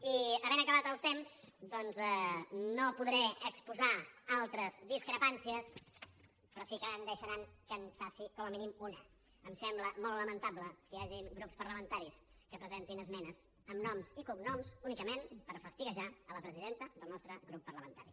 i havent acabat el temps doncs no podré exposar altres discrepàncies però sí que em deixaran que en faci com a mínim una em sembla molt lamentable que hi hagi grups parlamentaris que presentin esmenes amb noms i cognoms únicament per fastiguejar la presidenta del nostre grup parlamentari